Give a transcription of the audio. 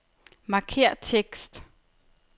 Markér tekst.